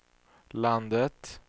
landet